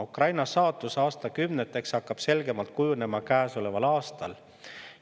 Ukraina saatus aastakümneteks hakkab selgemalt kujunema käesoleval aastal.